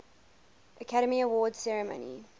academy awards ceremony